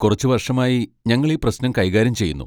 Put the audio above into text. കുറച്ച് വർഷമായി ഞങ്ങൾ ഈ പ്രശ്നം കൈകാര്യം ചെയ്യുന്നു.